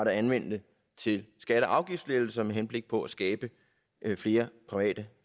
anvende til skatte og afgiftslettelser med henblik på at skabe flere private